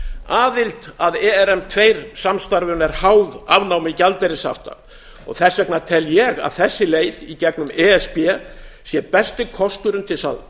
aðild að erm tvö samstarfinu er háð afnámi gjaldeyrishafta og þess vegna tel ég að þessi leið í gegnum e s b sé besti kosturinn til þess að